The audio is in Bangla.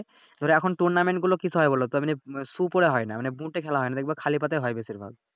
তবে এখন Tournament গুলো কিসে হয় বলোতো মানি Shoe পড়ে হয় নাহ মানি বুটে খেলা হয়না দেখবা খালি পা তে হয় বেশিরভাগ ।